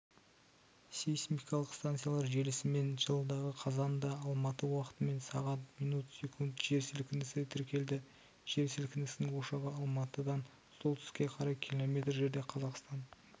сейсмикалық станциялар желісімен жылғы қазандаалматы уақытымен сағ мин сек жер сілкінісі тіркелді жер сілкінісінің ошағы алматыдан солтүстікке қарай км жерде қазақстан